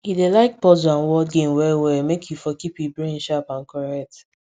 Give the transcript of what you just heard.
he dey like puzzles and word games well well make e for keep e brain sharp and correct